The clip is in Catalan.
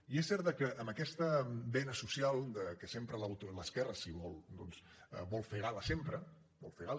i és cert que amb aquesta vena social de què sempre l’esquerra si vol doncs vol fer gala sempre en vol fer gala